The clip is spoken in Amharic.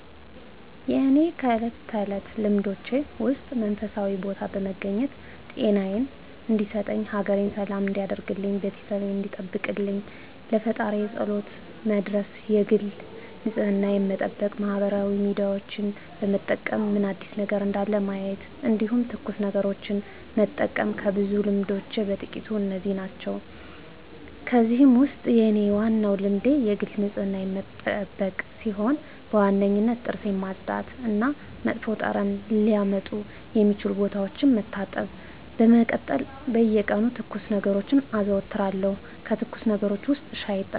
የእኔ ከእለት ተለት ልማዶቼ ውስጥ መንፈሳዊ ቦታ በመገኘት ጤናየን እንዲሰጠኝ፣ ሀገሬን ሰላም እንዲያደርግልኝ፣ ቤተሰቤን እንዲጠብቅልኝ ለፈጣሪየ ፀሎት መድረስ የግል ንፅህናየን መጠበቅ ማህበራዊ ሚዲያዎችን በመጠቀም ምን አዲስ ነገር እንዳለ ማየት እንዲሁም ትኩስ ነገሮችን መጠቀም ከብዙ ልማዶቼ በጥቂቱ እነዚህ ዋናዎቹ ናቸው። ከእነዚህ ውስጥ የኔ ዋናው ልማዴ የግል ንፅህናዬን መጠበቅ ሲሆን በዋነኝነት ጥርሴን ማፅዳት እና መጥፎ ጠረን ሊያመጡ የሚችሉ ቦታዎችን መታጠብ ነው። በመቀጠል በየቀኑ ትኩስ ነገሮችን አዘወትራለሁ ከትኩስ ነገሮች ውስጥ ሻይ እጠቀማለሁ።